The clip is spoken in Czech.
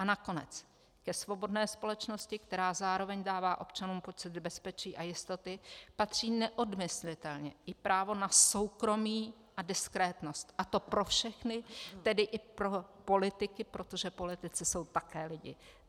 A nakonec: Ke svobodné společnosti, která zároveň dává občanům pocit bezpečí a jistoty, patří neodmyslitelně i právo na soukromí a diskrétnost, a to pro všechny, tedy i pro politiky, protože politici jsou také lidi.